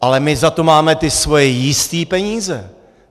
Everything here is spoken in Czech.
Ale my za to máme ty svoje jistý peníze.